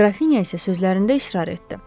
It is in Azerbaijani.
Qrafinya isə sözlərində israr etdi.